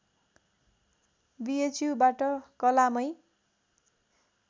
बिएचयुबाट कलामै